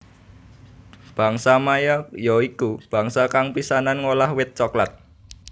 Bangsa Maya ya iku bangsa kang pisanan ngolah wit coklat